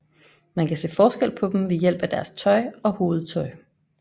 Man kan se forskel på dem ved hjælp af deres tøj og hovedtøj